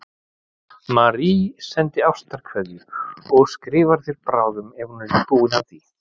Marie sendir ástarkveðjur og skrifar þér bráðum ef hún er ekki búin að því.